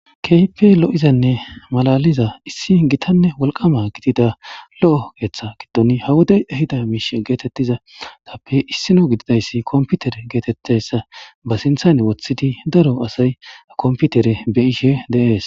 keype lo'izanne malaliza issi gitanne wolqama gidida lo'o keeththa giddon ha wodey ehida miish geetettizatappe issino gididayssi komputer geetetteyssa ba sinthane woththidi daro asay komputere beyishe de'ees